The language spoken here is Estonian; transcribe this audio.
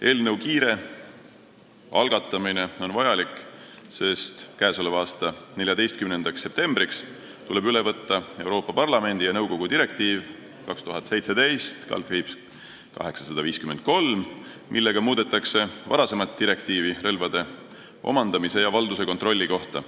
Eelnõu kiire algatamine on vajalik, sest k.a 14. septembriks tuleb üle võtta Euroopa Parlamendi ja nõukogu direktiiv 2017/853, millega muudetakse varasemat direktiivi relvade omandamise ja valduse kontrolli kohta.